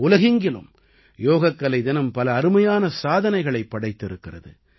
உலகெங்கிலும் யோகக்கலை தினம் பல அருமையான சாதனைகளைப் படைத்திருக்கிறது